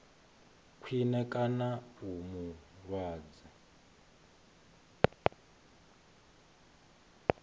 khwine kana u mu lwadza